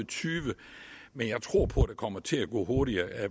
tyve men jeg tror på at det kommer til at gå hurtigere